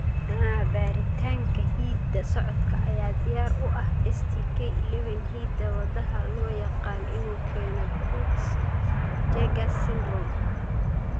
Haa, baaritaanka hidda-socodka ayaa diyaar u ah STK11, hidda-wadaha loo yaqaan inuu keeno Peutz Jeghers syndrome.